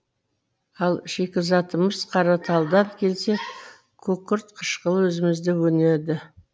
ал шикізатымыз қараталдан келсе күкірт қышқылы өзімізде өнеді